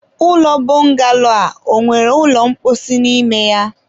ụlọ bọngalo a ọ nwere ụlọ mposi n'ime ya?